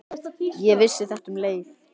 Ég vissi þetta um leið.